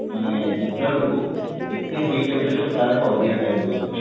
ମାନେ ଟିଟିଲାଗଡ କୁ ଏତେ hit temperature ତା ଠୁ ଅଧିକା କାଇଁ କି ହୋଉଛି